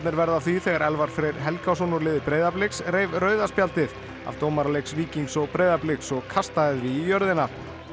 verða af því þegar Elfar Freyr Helgason úr liði Breiðabliks reif rauða spjaldið af dómara leiks Víkings og Breiðabliks og kastaði því í jörðina